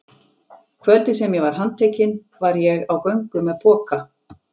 Kvöldið sem ég var handtekinn var ég á göngu með poka.